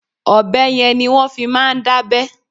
Ọ̀bẹ yen ni wọ́n fi máa ń dábẹ́.